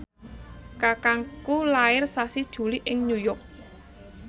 kakangku lair sasi Juli ing New York